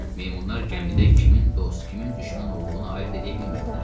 Meymunlar gəmidə kimin dost, kimin düşmən olduğunu ayırd eləyə bilmirdilər.